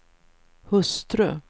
hustru